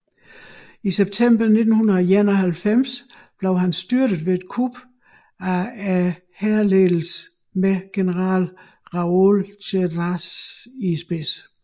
I september 1991 blev han styrtet ved et kup fra hærledelsen med general Raoul Cédras i spidsen